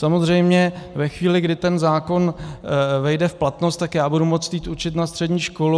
Samozřejmě ve chvíli, kdy ten zákon vejde v platnost, tak já budu moct jít učit na střední školu.